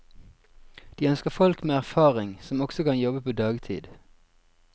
De ønsker folk med erfaring, som også kan jobbe på dagtid.